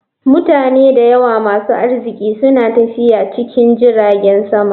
Mutane da yawa masu arziki suna tafiya cikin jiragen sama.